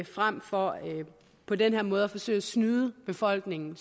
frem for på den her måde at forsøge at snyde befolkningen